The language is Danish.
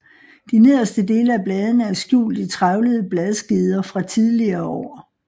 De nederste dele af bladene er skjult i trævlede bladskeder fra tidligere år